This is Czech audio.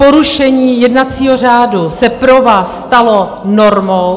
Porušení jednacího řádu se pro vás stalo normou.